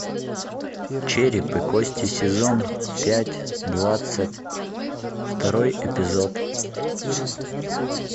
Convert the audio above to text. череп и кости сезон пять двадцать второй эпизод